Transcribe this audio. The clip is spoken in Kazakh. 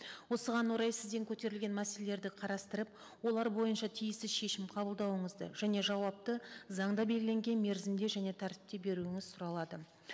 осыған орай сізден көтерілген мәселелерді қарастырып олар бойынша тиісті шешім қабылдауыңызды және жауапты заңда белгіленген мерзімде және тәртіпте беруіңіз сұралады